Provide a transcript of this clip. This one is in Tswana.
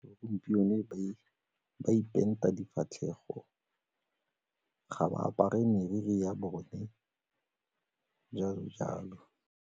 Gompieno ba ipenta difatlhego, ga ba apare meriri ya bone, jalo-jalo.